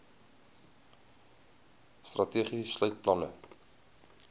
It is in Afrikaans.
strategie sluit planne